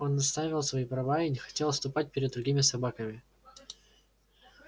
он отстаивал свои права и не хотел отступать перед другими собаками